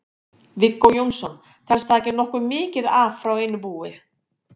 Viggó Jónsson: Telst það ekki nokkuð mikið af frá einu búi?